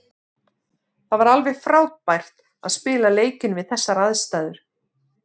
Það var alveg frábært að spila leikinn við þessar aðstæður.